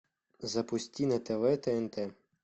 запусти на тв тнт